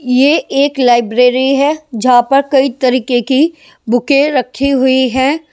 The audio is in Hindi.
ये एक लाइब्रेरी है जहां पर कई तरीके की बुकें रखी हुई है ।